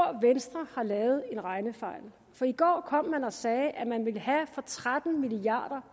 venstre har lavet en regnefejl for i går kom man og sagde at man vil have skattelettelser for tretten milliard